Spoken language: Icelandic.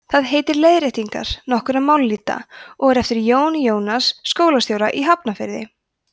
það heitir leiðréttingar nokkurra mállýta og er eftir jón jónasson skólastjóra í hafnarfirði